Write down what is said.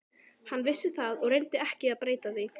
Hann vissi það og reyndi ekki að breyta því.